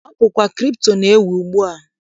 Ọ bụkwa kripto na-ewu ugbua.